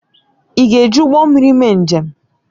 Ị ga-eji ụgbọ mmiri mee njem?